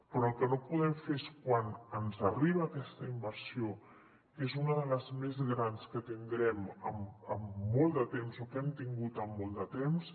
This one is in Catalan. però el que no podem fer és quan ens arriba aquesta inversió que és una de les més grans que tindrem en molt de temps o que hem tingut en molt de temps